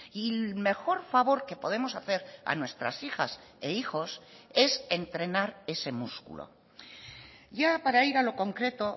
y mejor favor que podemos hacer a nuestras hijas e hijos es entrenar ese músculo ya para ir a lo concreto